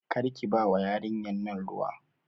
Karki bawa yarinyan nan ruwa